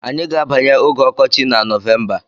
Anyị ga-abanye oge ọkọchị na Nọvemba.